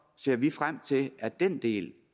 ser vi frem til at den del